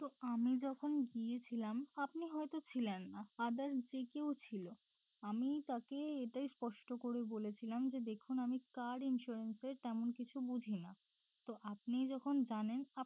তো আমি যখন গিয়েছিলাম আপনি হয়তো ছিলেন না other যে কেউ ছিল আমি তাকে এটা স্পষ্ট করে বলেছিলাম যে দেখুন আমি car insurance এর তেমন কিছু বুঝি না তো আপনি যখন জানেন